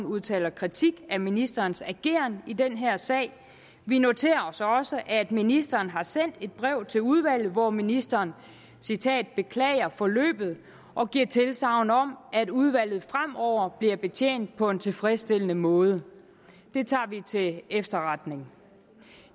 udtaler kritik af ministerens ageren i den her sag vi noterer os også at ministeren har sendt et brev til udvalget hvor ministeren beklager forløbet og giver tilsagn om at udvalget fremover bliver betjent på en tilfredsstillende måde det tager vi til efterretning